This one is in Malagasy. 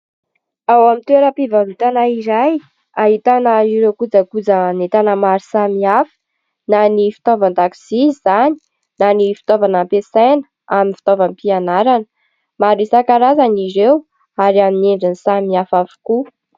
Ao amin'ny toeram-pivarotana iray ahitana ireo kojakojan'entana maro samihafa, na ny fitaovan-dakozia izany na ny fitaovana ampiasaina amin'ny fitaovam-pianarana maro isankarazany ireo ary amin'ny endriny samy hafa avokoa.